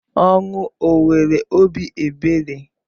Ọnwụ o nwere obi ebere?